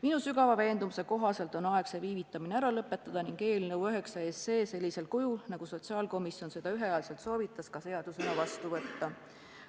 Minu sügava veendumuse kohaselt on aeg see viivitamine ära lõpetada ning eelnõu nr 9 sellisel kujul, nagu sotsiaalkomisjon seda ühehäälselt soovitas, seadusena vastu võtta.